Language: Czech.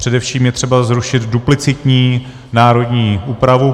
Především je třeba zrušit duplicitní národní úpravu.